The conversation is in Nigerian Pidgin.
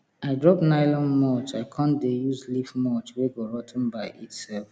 i drop nylon mulch i con dey use leaf mulch wey go rot ten by itself